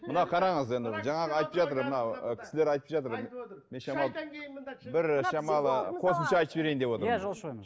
мына қараңыз енді жаңағы айтып жатыр мына кісілер айтып жатыр бір шамалы қосымша айтып жіберейін деп отырмын иә жолшыбек мырза